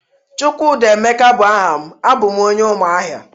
chukwudi emeka bu aha m, abum onye umuahia